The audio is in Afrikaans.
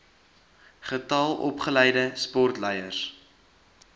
getal opgeleide sportleiers